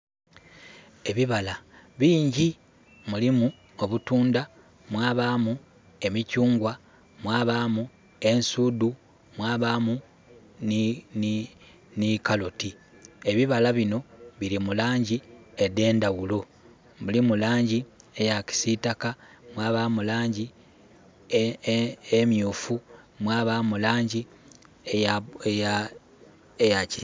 Ebibala bingi mulimu obutundha, mwabamu emikyungwa, mwabamu ensudhu mwabamu nhi kaloti. Ebibala binho biri mu langi edhendhaghulo. Mulimu langi eyakisitaka mwabamu langi emyufu mwa bamu langi eya ki....